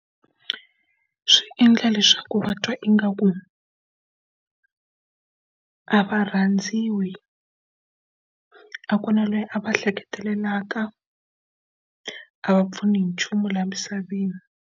Swi endla leswaku va twa ingaku a va rhandziwi, a ku na loyi a va ehleketelelaka, a va pfuni hi nchumu laha misaveni.